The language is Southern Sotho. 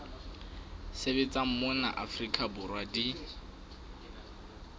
sebetsang mona afrika borwa di